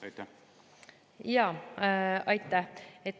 Aitäh!